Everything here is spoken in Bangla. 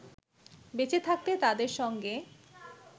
বেঁচে থাকতে তাদেরসঙ্গে